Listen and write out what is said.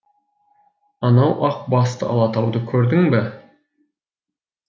анау ақ басты алатауды көрдің бе